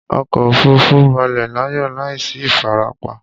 Ọkọ òfurufú balẹ̀ láyọ̀ láìsí ìfarapa